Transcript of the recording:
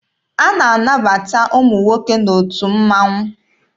A na-anabata ụmụ nwoke n'otu mmaṅụ.